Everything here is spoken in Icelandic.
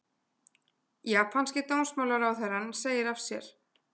Japanski dómsmálaráðherrann segir af sér